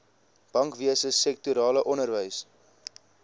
bankwese sektorale onderwys